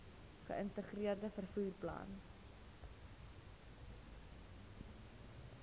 geïntegreerde vervoer plan